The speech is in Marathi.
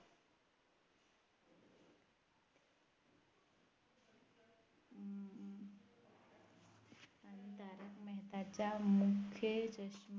मेहतांच्या मूख्य चष्मा